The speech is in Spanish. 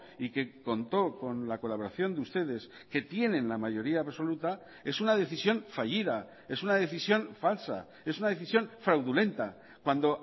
y que contó con la colaboración de ustedes que tienen la mayoría absoluta es una decisión fallida es una decisión falsa es una decisión fraudulenta cuando